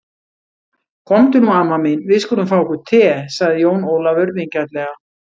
Komdu nú amma mín, við skulum fá okkur te, sagði Jón Ólafur vingjarnlega.